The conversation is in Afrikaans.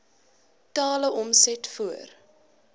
totale omset voor